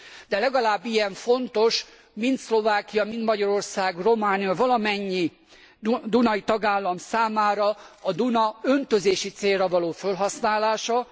De legalább ilyen fontos mind Szlovákia, mind Magyarország, Románia, valamennyi dunai tagállam számára a Duna öntözési célra való fölhasználása.